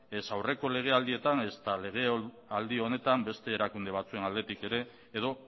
ez aurreko legealdietan ezta legealdi honetan beste erakunde batzuen aldetik ere edo